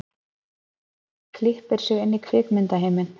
Klippir sig inn í kvikmyndaheiminn